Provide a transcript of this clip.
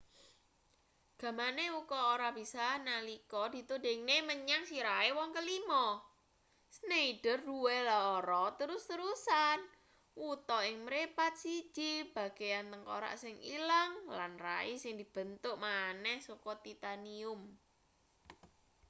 gamane uka ora bisa nalika ditudingne menyang sirahe wong kelima schneider duwe lara terus-terusan wuta ing mripat siji bagean tengkorak sing ilang lan rai sing dibentuk maneh saka titanium